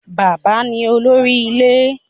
Bàbá ní olórí ilé.